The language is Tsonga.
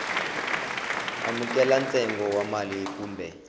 amukela ntsengo wa mali kumbe